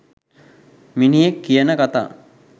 මිනිහෙක් කියන කතා